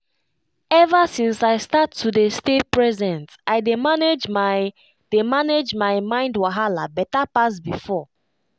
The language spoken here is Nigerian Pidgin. ever since i start to dey stay present i dey manage my dey manage my mind wahala better pass before.